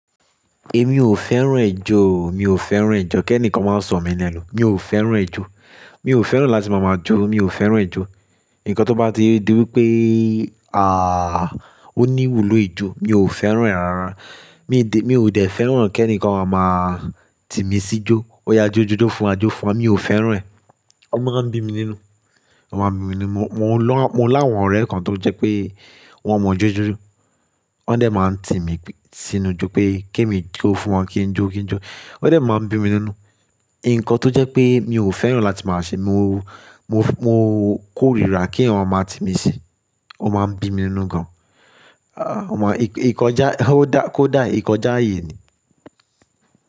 Emi ò fẹ́ràn ẹjọ́, mi ò fẹ́ràn ẹjọ́. Kẹ́ẹ́ni kan máa sọ̀ mí lẹnu, mi ò fẹ́ràn ẹjọ́. Mi ò fẹ́ràn láti máa máa jó, mi ò fẹ́ràn ijo. Ǹkan tó bá ti di wípé àá o ní ìwúlò ijó mi ò fẹ́ràn ẹ́ rara. Mi di-- mi ò dẹ̀ fẹ́ràn kẹ́ẹ́ni kan á máa tímí sí jó. Ó yá jó jó jó fún wa, jó fún wa, mi ò fẹ́ràn ẹ́. O máa ń bí mi nínú, O máa ń bí mi nínú. Mo lọ-- mo láwọn ọ̀rẹ́ kan tó jẹ́ pé wọ́n mọ jó jó jó. Wọ́n dẹ̀ máa ń tímí sí inú jó pé kemi jó fún wọn, kí n jó, kí n jó. Ó yá jó jó jó fún wa, jó fún wa, mi ò fẹ́ràn ẹ́. Ǹkan tó jẹ́ pé mi ò fẹ́ràn láti máa ṣe, mo, mo, mo kórìíra kí èèyàn máa tímí sí, o máa ń bí mi nínú gan. Ah wọ́n máa-- ikọjá, ó dá, kó dà, ikọjá aye ni.